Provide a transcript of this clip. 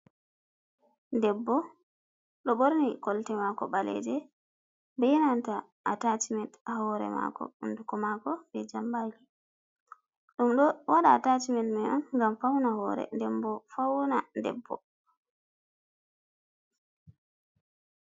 Debbo, do borni kolte maako ɓaleeje. bee nanta Ataasimen ha hoore maako, hunduko maako be jambaaki ɗum do waɗa Ataasimen mai on gam fawna hoore ɗen bo fawna debb.